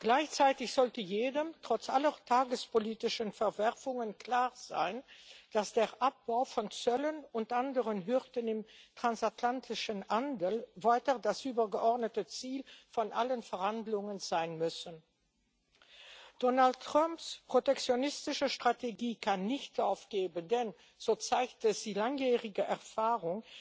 Gleichzeitig sollte jedem trotz aller tagespolitischen Verwerfungen klar sein, dass der Abbau von Zöllen und anderen Hürden im transatlantischen Handel weiter das übergeordnete Ziel von allen Verhandlungen sein muss. Donald Trumps protektionistische Strategie kann nicht aufgehen, denn so zeigt es die langjährige Erfahrung